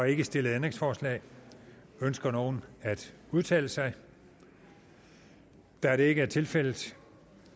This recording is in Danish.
ikke stillet ændringsforslag ønsker nogen at udtale sig da det ikke er tilfældet